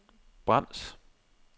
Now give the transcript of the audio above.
brems